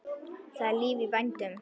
Það er líf í vændum.